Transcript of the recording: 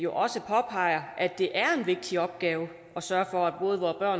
også påpeger at det er en vigtig opgave at sørge for at både